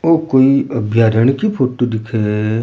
ओ कोई अभ्यारण की फोटो दिखे है।